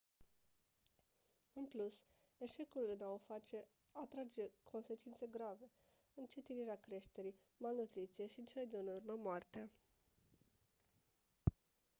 în plus eșecul în a o face atrage consecințe grave încetinirea creșterii malnutriție și în cele din urmă moartea